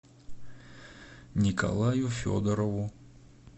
николаю федорову